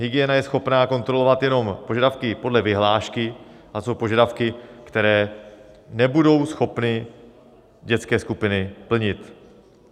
Hygiena je schopna kontrolovat jenom požadavky podle vyhlášky - a co požadavky, které nebudou schopny dětské skupiny plnit?